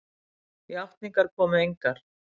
Játningar komu engar.